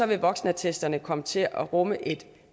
vil voksenattesterne komme til at rumme et